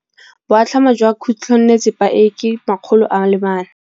Boatlhamô jwa khutlonnetsepa e, ke 400.